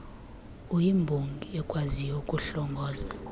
uyimbongi ekwaziyo ukuhlongoza